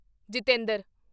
Jitendra